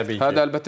Hə, əlbəttə ki.